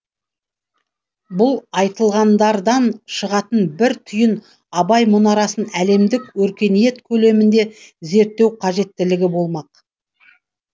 бұл айтылғандардан шығатын бір түйін абай мұнарасын әлемдік өркениет көлемінде зерттеу кажеттілігі болмақ